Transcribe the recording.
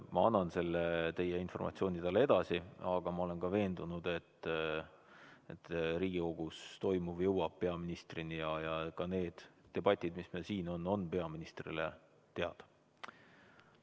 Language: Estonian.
Ma annan selle teie informatsiooni talle edasi, aga ma olen veendunud, et Riigikogus toimuv jõuab peaministrini ja ka need debatid, mis meil siin on, on peaministrile teada.